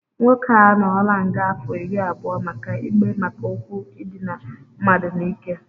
Nwoke a anọọla nga afọ iri abụọ maka ikpe maka okwu idina mmadụ n'ike